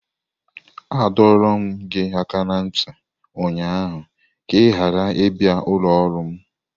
Adọrum gi aka na nti ụnyaahụ ka ị ghara ịbịa ụlọ ọrụ m!